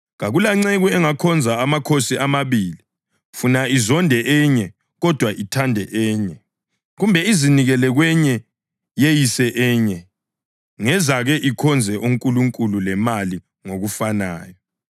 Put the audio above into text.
Kakulanceku engakhonza amakhosi amabili. Funa izonde enye kodwa ithande enye, kumbe izinikele kwenye yeyise enye. Ngezake likhonze uNkulunkulu lemali ngokufanayo.”